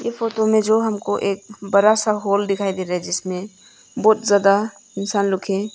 यह फोटो में जो हमको एक बड़ा सा हॉल दिखाई दे रहे जिसमें बहुत ज्यादा इंसान लोग है।